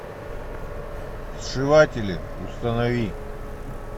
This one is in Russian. сшиватели установи